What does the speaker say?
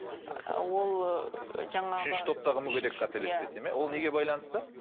ыыы ол жаңағы үшінші топтағы мүгедек қателеспесем иә ол неге байланысты